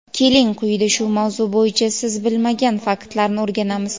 keling quyida shu mavzu bo‘yicha siz bilmagan faktlarni o‘rganamiz.